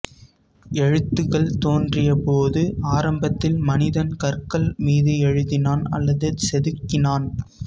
எழுத்துக்கள் தோன்றிய போது ஆரம்பத்தில் மனிதன் கற்கள் மீது எழுதினான் அல்லது செதுக்கினான்